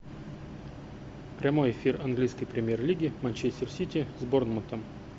прямой эфир английской премьер лиги манчестер сити с борнмутом